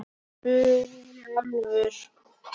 spurði Álfur.